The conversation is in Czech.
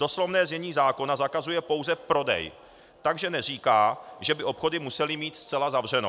Doslovné znění zákona zakazuje pouze prodej, takže neříká, že by obchody musely mít zcela zavřeno.